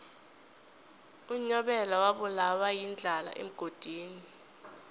unyabela wabulawa yindlala emgodini